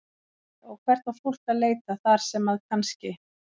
Logi: Og hvert á fólk að leita þar sem að kannski?